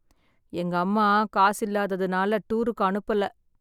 எங்க அம்மா காசில்லாதனால டூருக்கு அனுப்பல.